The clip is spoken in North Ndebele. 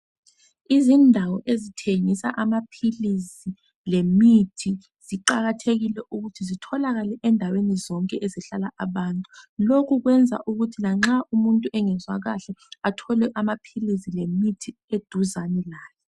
Izindawo ezithengisa amaphilisi lemithi ziqakathekile ukuthi zitholakale ezindaweni zonke ezihlala abantu lokhu kwenza ukuthi lanxa umuntu engezwa kahle athole amaphilisi lemithi eduzane laye.